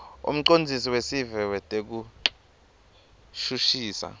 umcondzisi wesive wetekushushisa